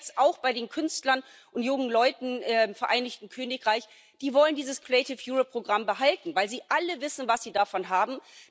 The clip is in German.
Wir sehen das jetzt auch bei den Künstlern und jungen Leuten im Vereinigten Königreich Die wollen dieses Creative Europe Programm behalten, weil sie alle wissen, was sie davon haben.